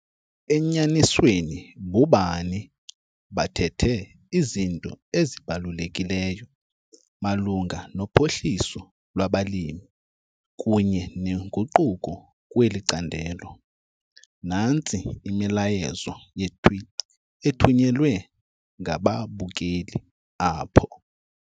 Enyanisweni, bobani bathethe izinto ezibalulekileyo malunga nophuhliso lwabalimi kunye nenguquko kweli candelo. Nantsi imiyalezo yee-tweet ethunyelwe ngababukeli apho.